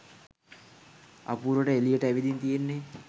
අපූරුවට එලියට ඇවිදින් තියෙන්නේ.